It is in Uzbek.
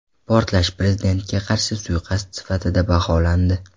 Portlash prezidentga qarshi suiqasd sifatida baholandi.